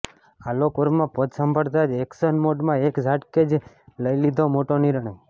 આલોક વર્મા પદ સંભાળતા જ ઍક્શન મોડમાં એક ઝાટકે જ લઈ લીધો મોટો નિર્ણય